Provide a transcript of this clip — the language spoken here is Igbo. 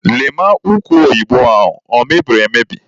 Lee ma ụkwa oyibo ahụ o mebiri emebi!